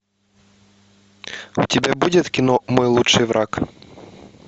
у тебя будет кино мой лучший враг